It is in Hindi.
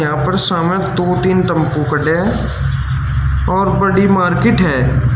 यहां पर सामने दो तीन टम्पू खड़े हैं और बड़ी मार्केट है।